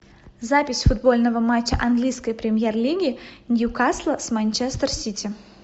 запись футбольного матча английской премьер лиги ньюкасла с манчестер сити